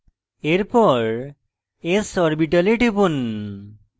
এরপর s orbital টিপুন